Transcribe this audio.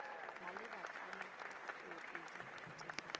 maleba kana c tsoopedi tefiso